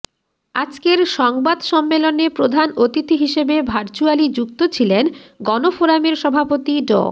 আজকের সংবাদ সম্মেলনে প্রধান অতিথি হিসেবে ভার্চ্যুয়ালি যুক্ত ছিলেন গণফোরামের সভাপতি ড